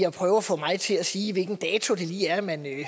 at prøve at få mig til at sige hvilken dato det lige er man